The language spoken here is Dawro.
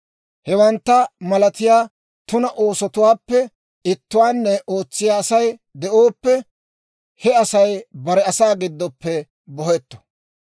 Hewantta malatiyaa tuna oosotuwaappe ittuwaanne ootsiyaa Asay de'ooppe, he Asay bare asaa giddoppe bohetto.